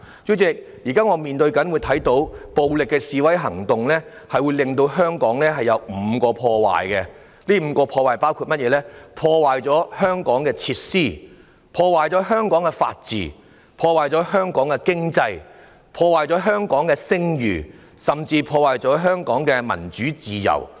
主席，我們現在看到，暴力示威行動對香港造成5項破壞，包括：破壞香港的設施、破壞香港的法治、破壞香港的經濟、破壞香港的聲譽，甚至破壞香港的民主自由。